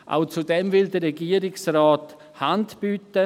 Auch dazu will der Regierungsrat Hand bieten.